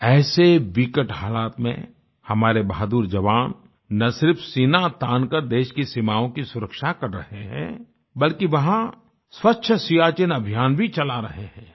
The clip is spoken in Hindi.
ऐसे विकट हालात में हमारे बहादुर जवान न सिर्फ सीना तान कर देश की सीमाओं की सुरक्षा कर रहे हैं बल्कि वहां स्वच्छ सियाचिन अभियान भी चला रहे हैं